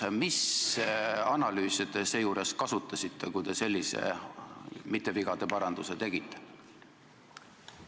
Mis analüüse te kasutasite, kui te sellise mitte-vigadeparanduse tegite?